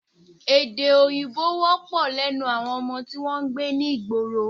Èdè Òyìnbó wọ́pọ̀ lẹ́nu àwọn ọmọ tí wọn ń gbé ní ìgboro